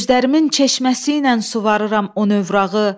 Gözlərimin çeşməsiylə suvarıram o novrağı.